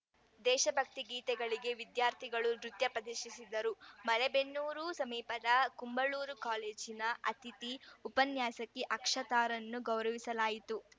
ದೇಶಭಕ್ತಿ ಗೀತೆಗಳಿಗೆ ವಿದ್ಯಾರ್ಥಿಗಳು ನೃತ್ಯ ಪ್ರದಿಶಿಸಿದರು ಮಲೇಬೆನ್ನೂರು ಸಮೀಪದ ಕುಂಬಳೂರು ಕಾಲೇಜಿನಲ್ಲಿ ಅತಿಥಿ ಉಪನ್ಯಾಸಕಿ ಅಕ್ಷತಾರನ್ನು ಗೌರವಿಸಲಾಯಿತು